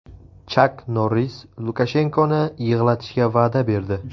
Chak Norris Lukashenkoni yig‘latishga va’da berdi .